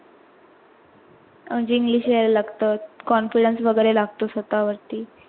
English यायला लागतात confidence वगैरे लगत स्वतावरती.